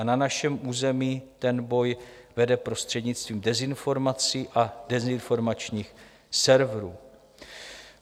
A na našem území ten boj vede prostřednictvím dezinformací a dezinformačních serverů.